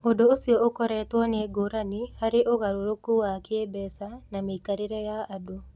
Ũndũ ũcio ũrutĩtwo nĩ ngũrani harĩ ũgarũrũku wa kĩĩmbeca na mĩikarĩre ya andũ.